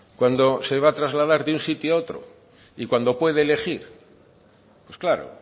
cuando se va a trasladar de un sitio a otros y cuando puede elegir pues claro